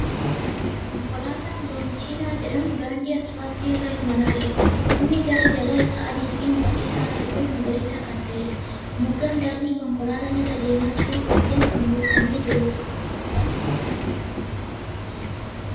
Konkolaataan loonchiinaa jedhamu daandii aspaaltii irra imala jira. Inni garri jalaaa isaa adii fi mudhii isaatii ol magariisa kan ta'eedha. Moggaan daandii konkolaataan irra deemaa jiruu dhukkeen kan guutamee jiruudha.